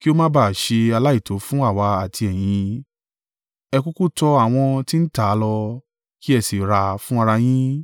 kí ó má ba à ṣe aláìtó fún àwa àti ẹ̀yin, ẹ kúkú tọ àwọn tí ń tà á lọ, kí ẹ sì rà fún ara yín.